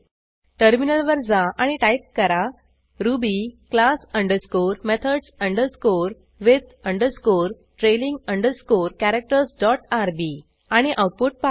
टर्मिनलवर जा आणि टाईप करा ruby class underscore methods underscore with underscore trailing underscore characters dot RB आणि आऊटपुट पहा